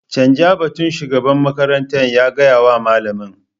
Canza batun shugaban makarantar ya gaya wa malamin.